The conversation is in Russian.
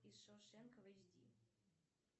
из шоушенка в эйч ди